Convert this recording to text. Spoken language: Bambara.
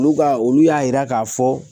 Olu ka olu y'a yira k'a fɔ